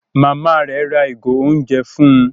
Màmá rẹ rà ìgò oúnjẹ fún